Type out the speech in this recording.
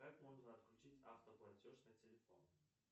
как можно отключить автоплатеж на телефон